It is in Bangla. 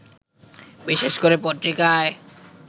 বিশেষ করে পত্রিকায়